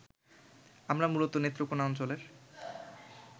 আমরা মূলত নেত্রকোনা অঞ্চলের